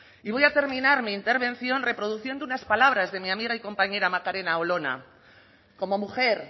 y voy a terminar mi intervención reproduciendo unas palabras de mi amiga y compañera macarena olona como mujer